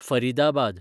Faridabad